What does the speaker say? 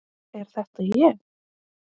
Er þetta ég?